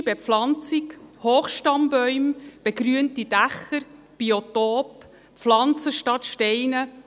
Einheimische Bepflanzung, Hochstammbäume, begrünte Dächer, Biotope, Pflanzen statt Steine: